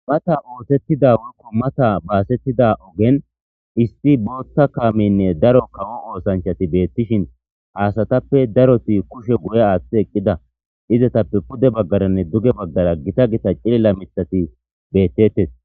Mata ootettida wolkko mata baasettida ogen isti bootta kaaminne daro kawo oosanchati beettishin haasatappe daroti kushe guye aaththi eqqida izatappe pude baggaranne duge baggara gita gita cililla mitxati beettettes.